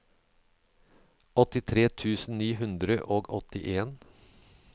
åttitre tusen ni hundre og åttien